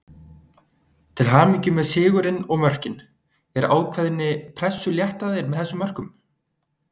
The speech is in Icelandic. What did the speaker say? Til hamingju með sigurinn og mörkin, er ákveðni pressu létt af þér með þessum mörkum?